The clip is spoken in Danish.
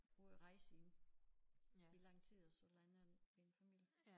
Ude at rejse i i lang tid og så lander en en familie